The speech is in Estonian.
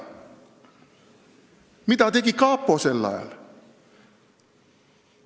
Mida tegi kapo sel ajal?